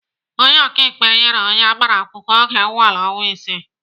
Onye ọkaikpe nyere onye agbara akwụkwọ oge nnwale ọnwa isii.